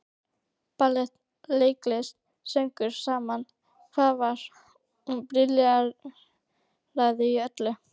Ballett, leiklist, söngur, sama hvað var, hún brilleraði í öllu.